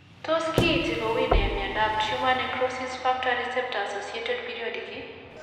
Tos kiinti kowuuy nee myondap tumor necrosis factor receptor assciated periodic ?